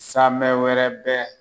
Samɛ wɛrɛ bɛ